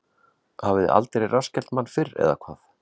Hafiði aldrei rassskellt mann fyrr, eða hvað?